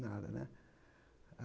Nada, né?